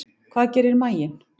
Hvað gerir maginn?